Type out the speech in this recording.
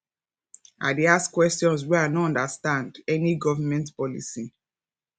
i dey ask questions wen i no understand any government policy